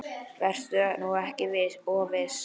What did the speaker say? Vertu nú ekki of viss.